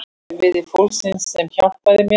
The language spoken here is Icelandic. Erfiði fólksins sem hjálpaði mér.